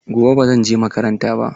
Gobe ba zan je makaranta ba.